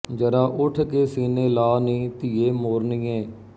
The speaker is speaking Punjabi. ਜਰਾ ਉਠ ਕੇ ਸੀਨੇ ਲਾ ਨੀ ਧੀਏ ਮੋਰਨੀਏ